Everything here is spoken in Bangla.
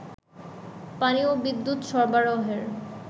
পানি ও বিদ্যুৎ সরবারহের